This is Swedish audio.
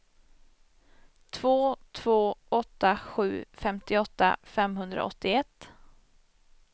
två två åtta sju femtioåtta femhundraåttioett